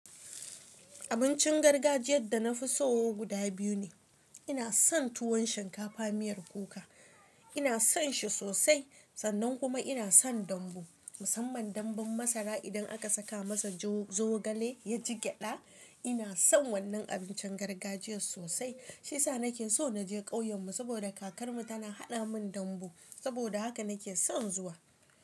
Abincin gargajiyar da na fi so guda biyu ne. Ina son tuwon shinkafa miyar kuka. Ina son shi sosai sannan kuma ina son dambu. Musamman dambun masara idan aka saka masa zogale ya jigyada. Ina son wannan abincin gargajiyar sosai. Shi sa nake so na je ƙauyenmu saboda kakarmu tana haɗa min dambu. Saboda haka nake son zuwa.